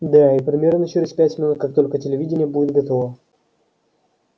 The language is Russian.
да и примерно через пять минут как только телевидение будет готово